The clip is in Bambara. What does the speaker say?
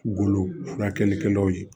Golo furakɛlikɛlaw ye